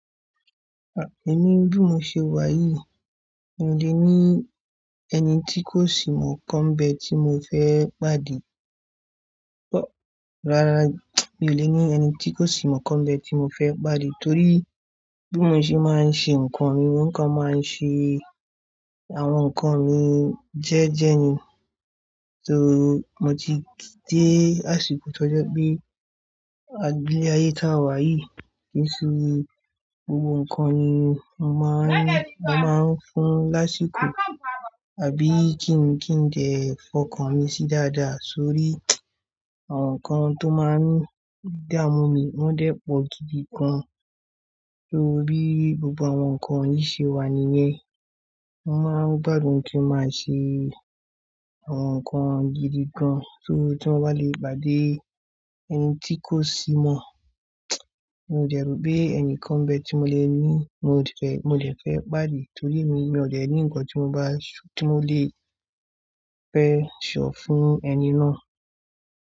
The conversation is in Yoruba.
Emi bí mo ṣe wà yìí, mi ò lè ní ẹni tí kò sì mọ̀ kan bẹ ti mo fẹ́ pàdé. Rárá, mi ò lè ní ẹni tí kò sì mọ̀ kan bẹ tí mo fẹ́ pàdé torí bí mo ṣe máa ń ṣe nǹkan mi, nǹkan máa ń ṣe àwọn nǹkan mi jẹ́ẹ́jẹ́ ni. So mo ti de àsìkò to je pe aye ti a wa yi ki se gbogbo nǹkan ni mo maa n fún ni àsìkò àbí kí n kí n dẹ ẹ fọkàn mi sí dáadáa sórí àwọn nǹkan tó máa ń dá mú mi, wọ́n dẹ́ pọ̀ gidi gan. Torí gbogbo àwọn nǹkan yìí ṣe wà níyẹn. Mo máa ń gbádùn kí ó máa ṣe àwọn nǹkan gidi gan torí tí mo bá lè pàdé ẹni tí kò sì mọ̀, mi ò jẹ̀rò pé ẹnìkan bẹ tí mo lè ní, mo lè fẹ́, mo lè fẹ́ pàdé torí èmi, mi ò le ní nǹkan tí mo bá ṣ, tí mo lè fe so fún ẹni náà.